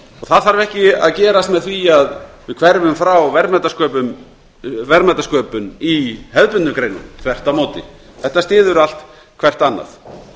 það þarf ekki að gerast með því að við hverfum frá verðmætasköpun í hefðbundnum greinum þvert á móti þetta styður allt hvert annað